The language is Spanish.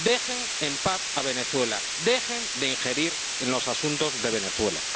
Dejen en paz a Venezuela, dejen de injerirse en los asuntos de Venezuela.